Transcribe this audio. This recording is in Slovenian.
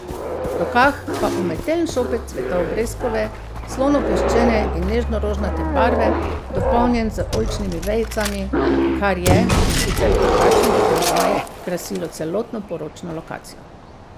V rokah pa umetelen šopek cvetov breskove, slonokoščene in nežno rožnate barve, dopolnjen z oljčnimi vejicami, kar je, sicer v drugačnih aranžmajih, krasilo celotno poročno lokacijo.